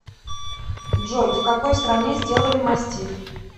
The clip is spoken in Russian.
джой в какой стране сделали мастиф